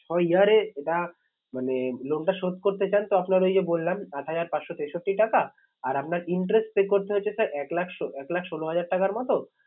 ছ year এ এটা মানে loan টা শোধ করতে চান তো আপনার ওই যে বললাম আট হাজার পাঁচশো তেষট্টি টাকা আর আপনার interest pay করতে হচ্ছে sir এক লাখ এক লাখ ষোলো হাজার টাকার মতো